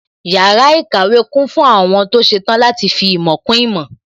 Yàrá ìkàwé kún fún àwọn tó ṣetán láti fi ìmọ̀ kún ìmọ̀